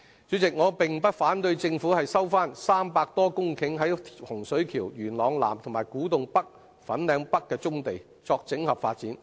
主席，我並不反對政府收回300多公頃位於洪水橋、元朗南、古洞北、粉嶺北的棕地作整合發展。